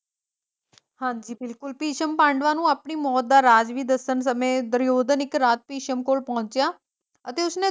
ਹਾਂਜੀ ਬਿਲਕੁਲ ਭਿਸ਼ਮ ਪਾਂਡੂਆਂ ਨੂੰ ਆਪਣੀ ਮੌਤ ਦਾ ਰਾਜ ਵੀ ਦੱਸਣ ਸਮੇਂ ਦੁਰਯੋਧਨ ਇੱਕ ਰਾਤੀ ਭਿਸ਼ਮ ਕੋਲ ਪਹੁੰਚਿਆ ਅਤੇ ਉਸਨੇ